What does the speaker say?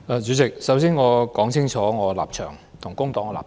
主席，首先，我要說清楚我和工黨的立場。